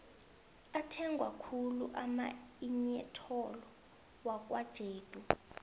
athengwakhulu amainyetholo wakwajedu